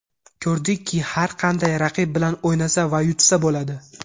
Ko‘rdikki, har qanday raqib bilan o‘ynasa va yutsa bo‘ladi”.